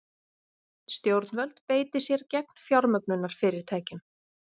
Stjórnvöld beiti sér gegn fjármögnunarfyrirtækjum